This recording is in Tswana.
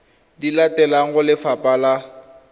di latelang go lefapha la